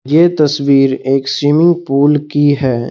ये तस्वीर एक स्विमिंग पूल की है।